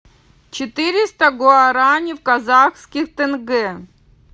четыреста гуарани в казахских тенге